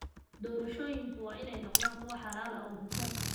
Doorashooyinku waa inay noqdaan kuwo xalaal ah oo hufan.